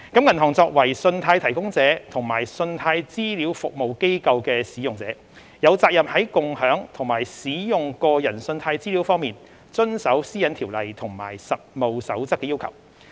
銀行作為信貸提供者及信貸資料服務機構的使用者，有責任在共享及使用個人信貸資料方面遵守《私隱條例》及《實務守則》的要求。